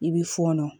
I bɛ fɔɔnɔ